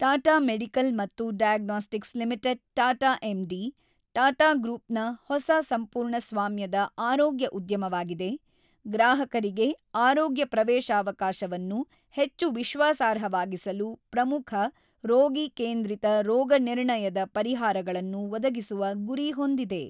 Tata medical ಮತ್ತು diagnostics limited Tata MD, Tata ಗ್ರೂಪ್ನ ಹೊಸ ಸಂಪೂರ್ಣ ಸ್ವಾಮ್ಯದ ಆರೋಗ್ಯ ಉದ್ಯಮವಾಗಿದೆ, ಗ್ರಾಹಕರಿಗೆ ಆರೋಗ್ಯ ಪ್ರವೇಶಾವಕಾಶವನ್ನು ಹೆಚ್ಚು ವಿಶ್ವಾಸಾರ್ಹವಾಗಿಸಲು ಪ್ರಮುಖ, ರೋಗಿ ಕೇಂದ್ರಿತ ರೋಗನಿರ್ಣಯದ ಪರಿಹಾರಗಳನ್ನು ಒದಗಿಸುವ ಗುರಿ ಹೊಂದಿದೆ.